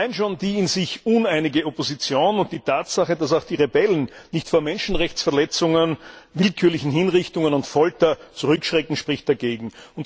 Allein schon die in sich uneinige Opposition und die Tatsache, dass auch die Rebellen nicht vor Menschenrechtsverletzungen, willkürlichen Hinrichtungen und Folter zurückschrecken, sprechen dagegen.